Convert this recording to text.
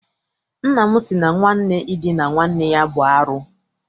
Nna m sị na nwanne idina nwanne ya bụ arụ.